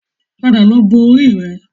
Padà lọ bọ orí rẹ